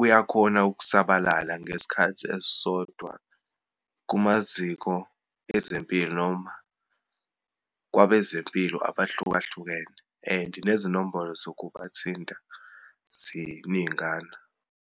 uyakhona ukusabalala ngesikhathi esisodwa kumaziko ezempilo, noma kwabezempilo abahlukahlukene and nezinombolo zokubathinta ziningana.